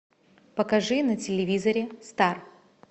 покажи на телевизоре стар